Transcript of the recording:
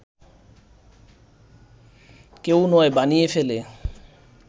‘কেউ নয়’ বানিয়ে ফেলে